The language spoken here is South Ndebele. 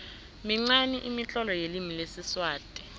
minqani imitlolo yelimi lesiswati